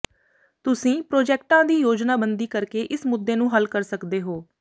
ਤੁਸੀਂ ਪ੍ਰੋਜੈਕਟਾਂ ਦੀ ਯੋਜਨਾਬੰਦੀ ਕਰਕੇ ਇਸ ਮੁੱਦੇ ਨੂੰ ਹੱਲ ਕਰ ਸਕਦੇ ਹੋ